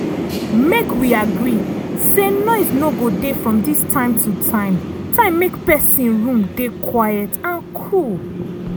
make wi agree say noise go dey from this time to time time make pesin room dey quiet and cool.